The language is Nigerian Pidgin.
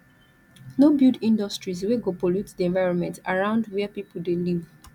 no build industries wey go pollute di environment arround where pipo de live